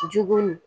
Jugun